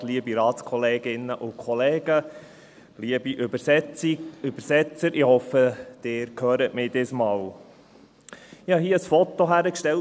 Ich habe ein Foto einer Frau und eines Kindes aufs Rednerpult gestellt.